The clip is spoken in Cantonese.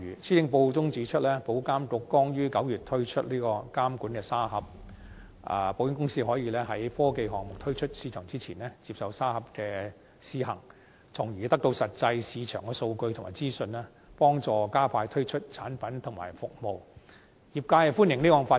施政報告中指出，保監局剛於9月推出監管沙盒，保險公司可以在科技項目推出市場前，接受沙盒的試行，從而得到實際的市場數據及資訊，幫助加快推出產品及服務，業界歡迎這項發展。